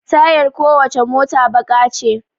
Tayar ko wacce mota baƙa ce